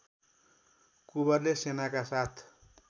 कुँवरले सेनाका साथ